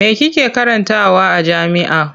Me kike karantawa a jami'a?